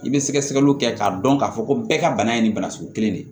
I bɛ sɛgɛsɛgɛliw kɛ k'a dɔn k'a fɔ ko bɛɛ ka bana ye nin bana sugu kelen de ye